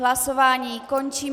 Hlasování končím.